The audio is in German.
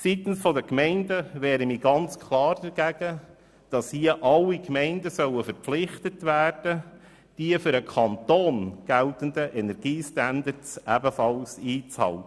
Seitens der Gemeinden wehre ich mich klar gegen eine Verpflichtung aller Gemeinden, die für den Kanton geltenden Energiestandards einzuhalten.